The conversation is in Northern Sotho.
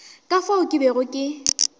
ka fao ke bego ke